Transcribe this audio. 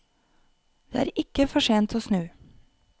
Det er ikke for sent å snu.